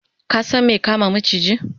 ka San me kama maciji?